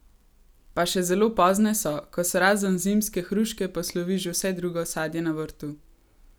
Pa še zelo pozne so, ko se razen zimske hruške poslovi že vse drugo sadje na vrtu!